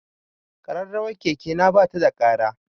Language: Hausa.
Ƙararrawar keke na ba ta da ƙara.